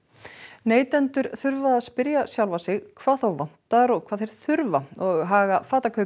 neytendur þurfa að spyrja sjálfa sig hvað þá vantar og hvað þeir þurfa og haga